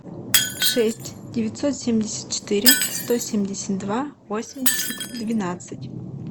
шесть девятьсот семьдесят четыре сто семьдесят два восемьдесят двенадцать